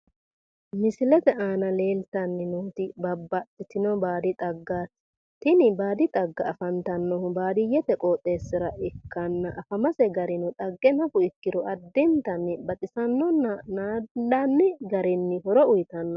misilete aana leeltanni nootu babaxitino baadi xaggaati tini baadi xagga afantannohu baadiyhete qooxeessira ikkanna afamase garino xagge nafu ikkiro addintanni baxisannonna naandanni garinni horo uyiitanno.